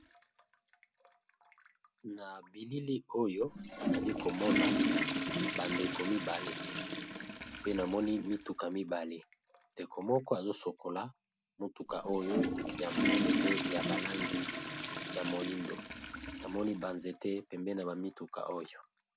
na bilili oyo ali komona bandeko mibale pe namoni mituka mibale ndeko moko azosokola motuka oyo ya monene pe ya balangi ya moindo namoni banzete pembe na bamituka oyo